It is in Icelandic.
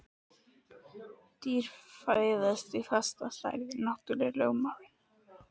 Dýr fæðast í fasta stærð: náttúrulögmálin.